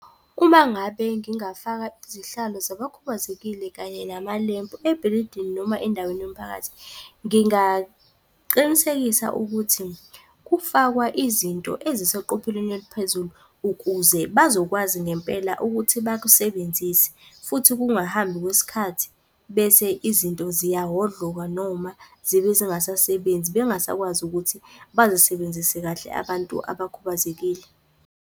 Uma ngabe ngingafaka izihlalo zabakhubazekile kanye namalempu ebhilidini noma endaweni yomphakathi, ngingaqinisekisa ukuthi kufakwa izinto eziseqopheleni eliphezulu, ukuze bazokwazi ngempela ukuthi bakusebenzise, futhi kungahambi kwesikhathi, bese izinto ziyahhodloka noma zibe zingasasebenzi bengasakwazi ukuthi bazisebenzise kahle abantu abakhubazekile.